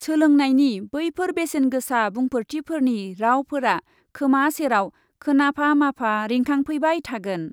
सोलोंनायनि बैफोर बेसेनगोसा बुंफोरथिफोरनि रावफोरा खोमा सेराव खोनाफा माफा रिंखांफैबाय थागोन ।